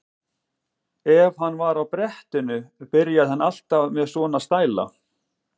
Ef hann var á brettinu byrjaði hann alltaf með svona stæla.